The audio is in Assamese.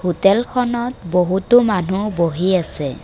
হোটেলখনত বহুতো মানুহ বহি আছে।